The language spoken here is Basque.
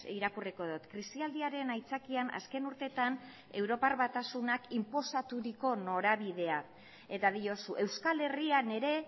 irakurriko dut krisialdiaren aitzakian azken urteetan europar batasunak inposaturiko norabidea eta diozu euskal herrian ere